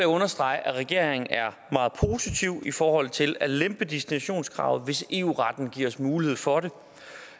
understrege at regeringen er meget positiv i forhold til at lempe destinationskravet hvis eu retten giver os mulighed for